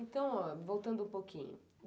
Então, voltando um pouquinho.